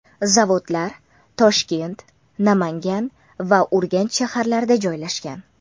Zavodlar Toshkent, Namangan va Urganch shaharlarida joylashgan.